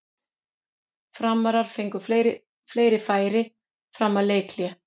Framarar fengu fleiri færi fram að leikhléi.